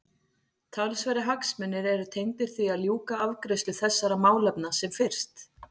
Talsverðir hagsmunir eru tengdir því að ljúka afgreiðslu þessara málefna sem fyrst.